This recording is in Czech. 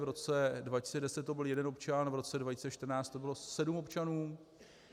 V roce 2010 to byl jeden občan, v roce 2014 to bylo sedm občanů.